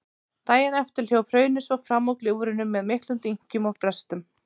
Daginn eftir hljóp hraunið svo fram úr gljúfrinu með miklum dynkjum og brestum.